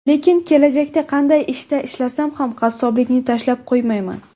Lekin kelajakda qanday ishda ishlasam ham qassoblikni tashlab qo‘ymayman.